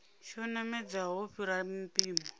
tsho namedzaho u fhira mpimo